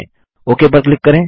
okay पर click करें